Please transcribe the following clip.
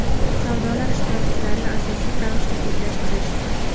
savdolar ishtirokchilarini asossiz ravishda chetlashtirish;.